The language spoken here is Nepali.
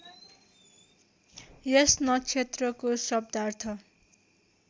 यस नक्षत्रको शब्दार्थ